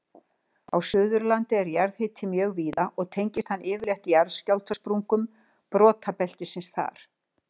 Á Suðurlandi er jarðhiti mjög víða og tengist hann yfirleitt jarðskjálftasprungum brotabeltisins þar.